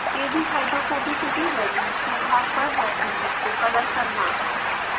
kdhydrophobicity values के आधार पर रेसीड्यूज़ को कलर करना